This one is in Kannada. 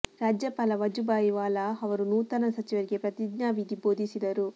ರಾಜ್ಯಪಾಲ ವಜುಭಾಯಿ ವಾಲಾ ಅವರು ನೂತನ ಸಚಿವರಿಗೆ ಪ್ರತಿಜ್ಞಾ ವಿಧಿ ಬೋಧಿಸಿದರು